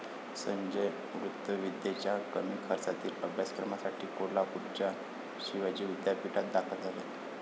संजय वृत्तविद्येच्या कमी खर्चातील अभ्यासक्रमासाठी कोल्हापूरच्या शिवाजी विद्यापीठात दाखल झाले.